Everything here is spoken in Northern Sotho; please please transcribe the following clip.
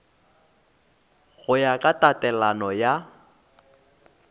go ya ka tatelano ya